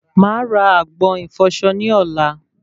Màá ra agbọ̀n ìfọsọ ní ọ̀la